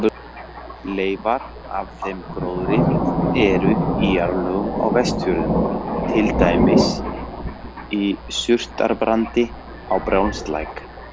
Leifar af þeim gróðri eru í jarðlögum á Vestfjörðum, til dæmis í surtarbrandi á Brjánslæk.